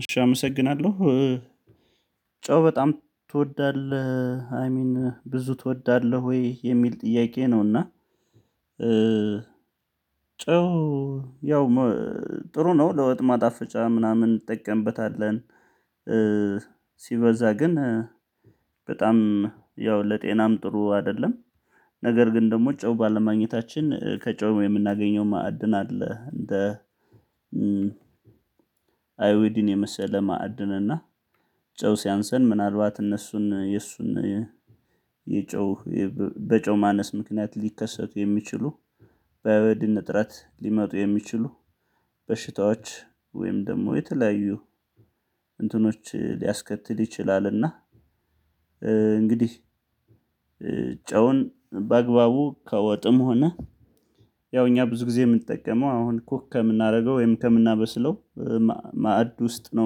እሺ አመሰግናለሁ። ጨው በጣም ትወዳለህ አይ ሚን ብዙ ትወዳለህ ወይ የሚል ጥያቄ ነው? እና ጨው ያው ጥሩ ነው ለውጥ ማጣፍጫ ምናምን እንጠቀምበታለን። ሲበዛ ግን በጣም ያው ለጤናም ጥሩ አይደለም። ነገር ግን ደግሞ ጨው ባለማግኘታችን ከጨው የምናገኘው ማዕድን አለ እንደ አዮዲን የመሰለ ማዕድን እና ጨው ሲያንስን ምናልባት እነሱን የሱን የጨው በጨው ማነስ ምክንያት ሊከሰቱ የሚችሉ በአዮዲን እጥረት ሊመጡ የሚችሉ በሽታዎች ወይም ደግሞ የተለያዩ እንትኖች ሊያስከትል ይችላልና። እንግዲህ ጨውን በአግባቡ ከወጥም ሆነ ያው እኛ ብዙ ጊዜ የምንጠቀመው አሁን ኩክ ከምናደርገው ወይም ከምናበስለው ማዕድ ውስጥ ነው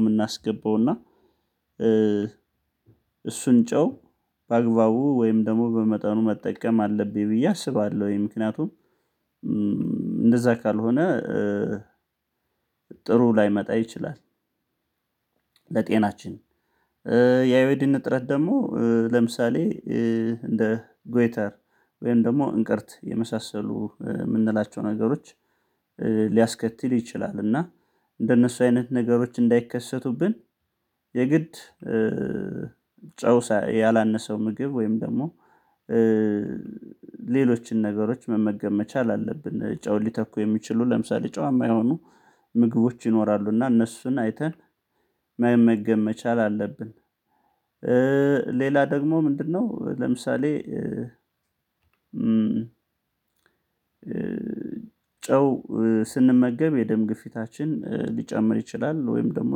የምናስገባው እና እሱን ጨው በአግባቡ ወይም ደግሞ በመጠኑ መጠቀም አለብኝ ብዬ አስባለሁኝ ምክንያቱም እንደዛ ካልሆነ ጥሩ ላይመጣ ይችላል። ለጤናችን የአዮዲን እጥረት ደግሞ ለምሳሌ እንደ ጉዌተር ወይም ደግሞ እንቅርት የመሳሰሉ የምንላቸው ነገሮች ሊያስከትል ይችላል። እና እንደነሱ አይነት ነገሮች እንዳይከሰቱብን የግድ ጨው ያላነሰው ምግብ ወይም ደግሞ ሌሎችን ነገሮች መመገብ መቻል አለብን ጨው ሊተኩ የሚችሉ ለምሳሌ ጨዋማ የሆኑ ምግቦች ይኖራሉ እና እነሱን አይተን መመገብ መቻል አለብን። ሌላ ደግሞ ምንድነው? ለምሳሌ ጨው ስንመገብ የደም ግፊታችን ሊጨምር ይችላል ወይም ደግሞ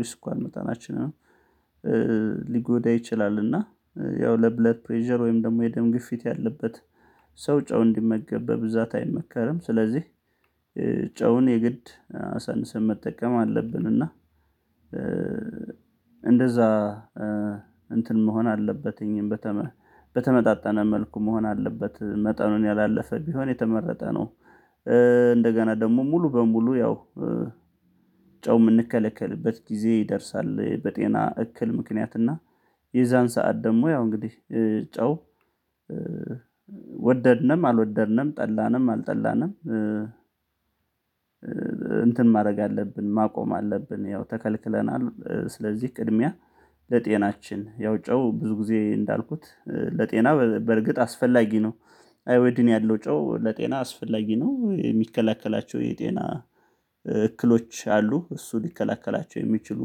የስኳር መጠናችን ሊጎዳ ይችላል እና ያው ለብለድ ፕሬዠር ወይም ደግሞ የደም ግፊት ያለበት ሰው ጨው እንዲመገብ በብዛት አይመከርም። ስለዚህ ጨውን የግድ ሰንሰን መጠቀም አለብን እና እንደዛ እንትን መሆን አለበት እኛም በተመጣጣነ መልኩ መሆን አለበት መጠኑን ያላለፈ ቢሆን የተመረጠ ነው። እንደገና ደግሞ ሙሉ በሙሉ ያው ጨው የምንከለከልበት ጊዜ ይደርሳል በጤና እክል ምክንያት እና የዛን ሰዓት ደግሞ ያው እንግዲህ ጨው ወደድንም አልወደድንም ጠላንም አልጠላንም እንትን ማድረግ አለብን ማቆም አለብን። ያው ተከልክለናል ስለዚህ እድሜያ ለጤናችን ያው ጨው ብዙ ጊዜ እንዳልኩት ለጤና በርግጥ አስፈላጊ ነው አዮዲን ያለው ጨው ለጤና አስፈላጊ ነው። የሚከለክላቸው የጤና እክሎች አሉ እሱ ሊከላከላቸው የሚችሉ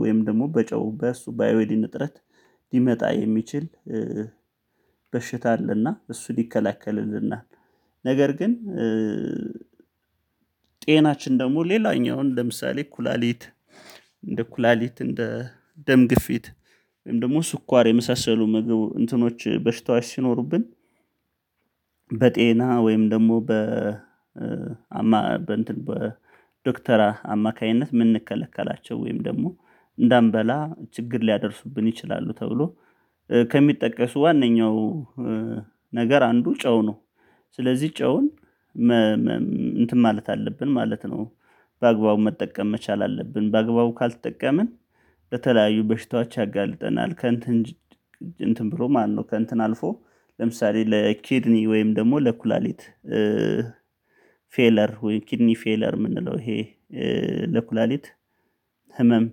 ወይም ደግሞ በጨው በእሱ በአዮዲን እንጥረት ሊመጣ የሚችል በሽታ አለና እሱ ይከለከልልናል። ነገር ግን ጤናችን ደግሞ ሌላኛውን ለምሳሌ ኩላሊት እንደ ኩላሊት እንደ ደም ግፊት ወይም ደግሞ ስኳር የመሳሰሉ መገቡ እንትኖች በሽታዎች ሲኖሩብን በጤና ወይም ደግሞ በ በ ዶክተር አማካኝነት የምንከለከላቸው ወይም ደግሞ እንዳንበላ ችግር ሊያደርሱብን ይችላሉ ተብሎ ከሚጠቀሱ ዋንኛው ነገር አንዱ ጨው ነው። ስለዚህ ጨውን እንትን ማለት አለብን ማለት ነው። በአግባቡ መጠቀም መቻል አለብን በአግባቡ ካልተጠቀምን በተለያዩ በሽታዎች ያጋልጠናል ከእንትን እንትን ብሎ ማነው ከእንትን አልፎ ለምሳሌ ለኪድኒ ወይም ደግሞ ለኩላሊት ፌለር ወይ ኪድኒ ፌለር የምንለው ይሄ ለኩላሊት ህመም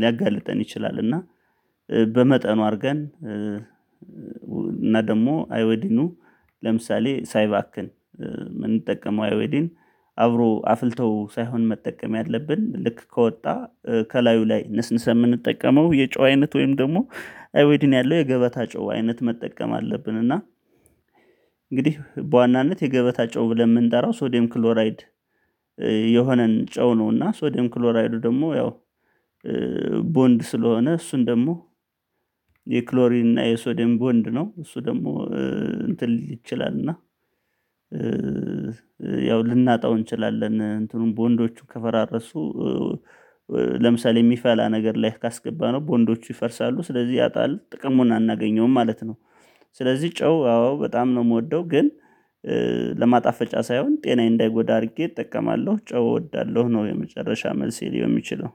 ሊያጋልጠን ይችላል። እና በመጠኑ አድርገን እና ደግሞ አዮዲኑ ለምሳሌ ሳይባክን የምንጠቀመው አዮዲን አብሮ አፍልተው ሳይሆን መጠቀም ያለብን ልክ ከወጣ ከላዩ ላይ ነስንሰን የምንጠቀመው የጨው አይነት ወይም ደግሞ አይዲን ያለው የገበታ ጨዋ አይነት መጠቀም አለብን እና እንግዲህ በዋናነት የገበታ ጨዋ ብለን የምንጠራው ሶዲየም ክሎራይድ የሆነን ጨው ነው። እና ሶዲየም ክሎራይዱ ደግሞ ያው ቦንድ ስለሆነ እሱን ደግሞ የክሎሪን እና የሶዴም ቦንድ ነው እሱ ደግሞ እንትን ሊል ይችላል እና ያው ልናጣው እንችላለን እንትኑን ቦንዶቹ ከፈራረሱ ለምሳሌ የሚፈላ ነገር ላይ ካስገባነው በቦንዶቹ ይፈርሳሉ ስለዚህ ያጣል ጥቅሙን አናገኘውም ማለት ነው። ስለዚህ ጨው አዎ በጣም ነው የምወደው ግን ለማጣፈጫ ሳይሆን ጤናዬ እንዳይጎዳ አድርጌ እጠቀማለሁ ጨው እወዳለሁ ነው። የመጨረሻ መልሴ ሊሆን የሚችለው